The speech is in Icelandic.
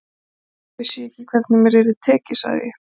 Þér að segja, þá vissi ég ekki hvernig mér yrði tekið sagði ég.